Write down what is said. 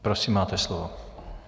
Prosím máte slovo.